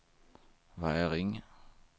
Väring